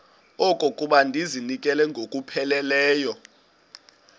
okokuba ndizinikele ngokupheleleyo